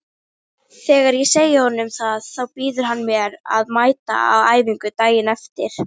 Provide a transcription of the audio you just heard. Þegar ég segi honum það þá býður hann mér að mæta á æfingu daginn eftir.